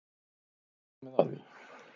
Það er komið að því.